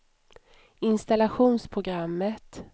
installationsprogrammet